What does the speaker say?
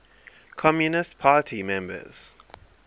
communist party members